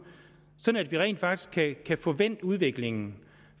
sådan at vi rent faktisk kan få vendt udviklingen